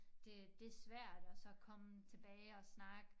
Det det svært at så komme tilbage og snakke